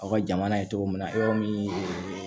Aw ka jamana ye cogo min na yɔrɔ min